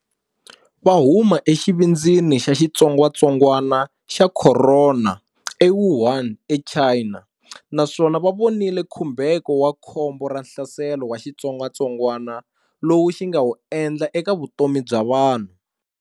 Va huma exivindzini xa xitsongwatsongwana xa khorona eWuhan eChina naswona va vonile khumbheko wa khombo ra hlaselo wa xitsongwatsongwana lowu xi nga wu endla eka vutomi bya vanhu.